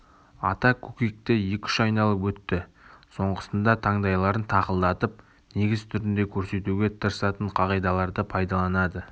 ата көкекті екі-үш айналып өтті соңғысында таңдайларын тақылдатып негіз түрінде көрсетуге тырысатын қағидаларды пайдаланады